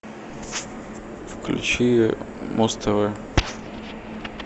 включи муз тв